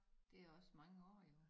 Det også mange år jo da